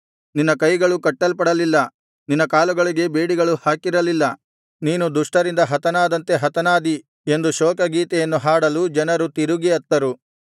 ನಿನ್ನ ಕೈಗಳು ಕಟ್ಟಲ್ಪಡಲಿಲ್ಲ ನಿನ್ನ ಕಾಲುಗಳಿಗೆ ಬೇಡಿಗಳು ಹಾಕಿರಲಿಲ್ಲ ನೀನು ದುಷ್ಟರಿಂದ ಹತನಾದಂತೆ ಹತನಾದಿ ಎಂದು ಶೋಕಗೀತೆಯನ್ನು ಹಾಡಲು ಜನರು ತಿರುಗಿ ಅತ್ತರು